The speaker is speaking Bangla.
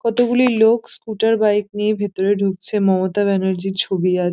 কতগুলি লোক স্কুটার বাইক নিয়ে ভেতরে ঢুকছে মমতা ব্যানার্জি -র ছবি আছে।